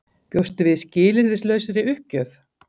Bjóstu við skilyrðislausri uppgjöf?